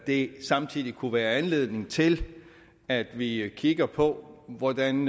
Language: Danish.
det samtidig kunne være anledning til at vi kigger på hvordan